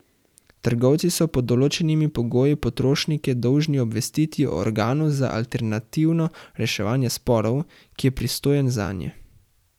Trgovci so pod določenimi pogoji potrošnike dolžni obvestiti o organu za alternativno reševanje sporov, ki je pristojen zanje.